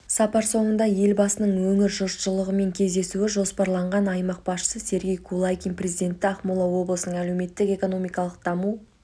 сапар соңында елбасының өңір жұртшылығымен кездесуі жоспарланған аймақ басшысы сергей кулагин президентті ақмола облысының әлеуметтік-экономикалық даму